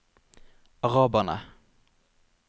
araberne